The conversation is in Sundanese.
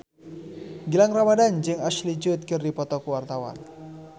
Gilang Ramadan jeung Ashley Judd keur dipoto ku wartawan